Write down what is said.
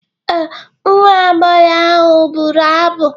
Ee, nwa agbọghọ ahụ bụrụ abụ.